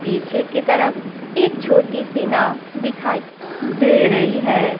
पीछे की तरफ एक छोटी सी नाव दिखाई दे रही है।